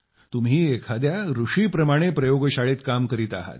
तुम्ही एका ऋषीप्रमाणे प्रयोगशाळेत काम करत आहात